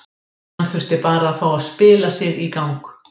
Hann þurfti bara að fá að spila sig í gang.